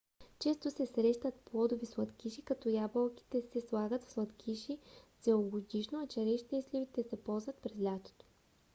често се срещат плодови сладкиши като ябълките се слагат в сладкиши целогодишно а черешите и сливите се ползват през лятото